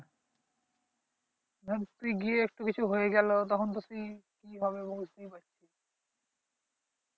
না ধর গিয়ে কিছু একটা হল তখন তো তুই কি হবে দেখ